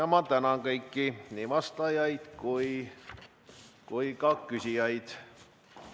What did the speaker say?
Ma tänan kõiki, nii vastajaid kui ka küsijaid.